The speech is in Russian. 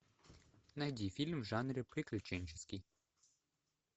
найди фильм в жанре приключенческий